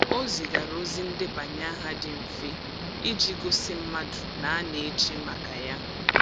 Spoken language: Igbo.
O zigara ozi ndebanye aha dị mfe iji gosi mmadụ na a na-eche maka ya.